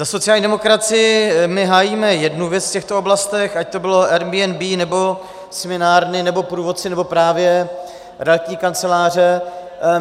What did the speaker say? Za sociální demokracii - my hájíme jednu věc v těchto oblastech, ať to bylo Airbnb, nebo směnárny, nebo průvodci, nebo právě realitní kanceláře.